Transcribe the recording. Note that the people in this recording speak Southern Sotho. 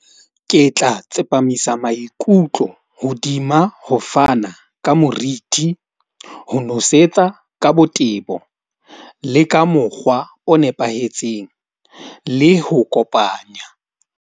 Ke tla tsepamisa maikutlo hodima ho fana ka moriti, ho nosetsa ka botebo le ka mokgwa o nepahetseng le ho kopanya.